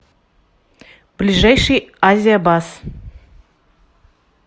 ближайший азия бас